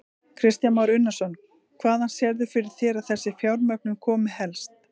Kristján Már Unnarsson: Hvaðan sérðu fyrir þér að þessi fjármögnun komi helst?